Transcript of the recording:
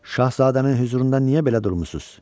Şahzadənin hüzurunda niyə belə durmusunuz?